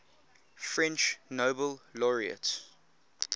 french nobel laureates